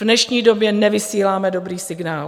V dnešní době nevysíláme dobrý signál.